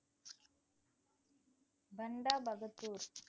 Banda Bahadur